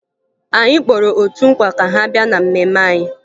Anyị kpọrọ otu nkwa ka ha bịa na mmemme anyị